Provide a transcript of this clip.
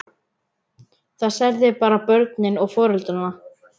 Það særði bara börnin og foreldrana.